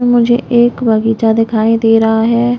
मुझे एक बगीचा दिखाई दे रहा हैं ।